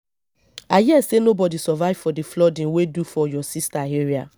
i hear say nobody survive for the flooding wey do for your sister area